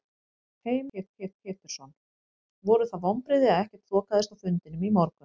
Heimir Már Pétursson: Voru það vonbrigði að ekkert þokaðist á fundinum í morgun?